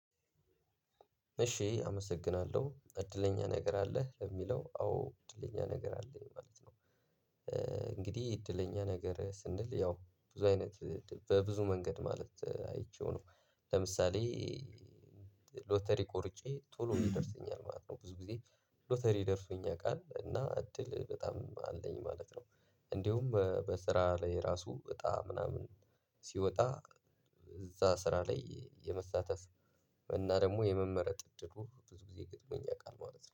እሺ አመሰግናለሁ እድለኛ ነገር አለህ ለሚለው አዎ እድለኛ ነገር አለኝ ማለት ነው። እንግዲህ እድለኛ ነገር ስንል ያው ብዙ አይነት በብዙ መንገድ ማለት አይቼው ነው። ለምሳሌ ሎተሪ ቆርጬ ቶሎ ይደርሰኛል ማለት ነው ብዙ ጊዜ። ሎተሪ ደርሶኝ ያቃል እና እድል በጣም አለኝ ማለት ነው። እንዲሁም በስራ ላይ ራሱ እጣ ምናምን ሲወጣ እዛ ስራ ላይ የመሳተፍ እና ደግሞ የመመረጥ እድሉ ብዙ ጊዜ ገጥሞኝ ያቃል ማለት ነው